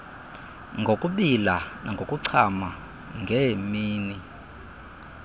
ngokubila nangokuchama ngeemini